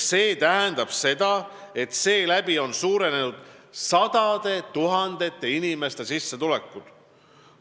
See tähendab seda, et seeläbi on suurenenud sadade tuhandete inimeste sissetulekud.